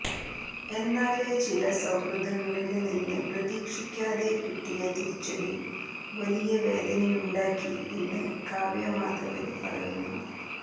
എന്നാല് ചില സൌഹൃദങ്ങളില് നിന്ന് പ്രതീക്ഷിക്കാതെ കിട്ടിയ തിരിച്ചടി വലിയ വേദനയുണ്ടാക്കി എന്ന് കാവ്യ മാധവന് പറയുന്നു